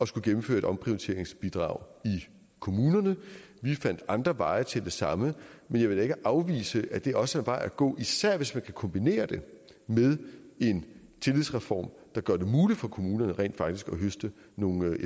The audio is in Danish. skulle gennemføres et omprioriteringsbidrag i kommunerne vi fandt andre veje til det samme men jeg vil da ikke afvise at det også er en vej at gå især hvis man kan kombinere det med en tillidsreform der gør det muligt for kommunerne rent faktisk at høste nogle